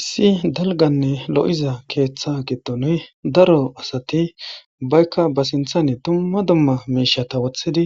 Issi dalganne lo'iza keeththa gidonuy daro asati baykka ba sinthane dumma dumma miishata wothidi